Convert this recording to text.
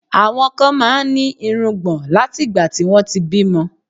Àwọn kan máa ń ní irùngbọ̀n látìgbà tí wọ́n ti bímọ